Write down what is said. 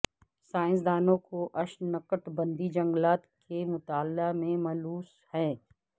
سائنسدانوں کو اشنکٹبندیی جنگلات کے مطالعہ میں ملوث ہیں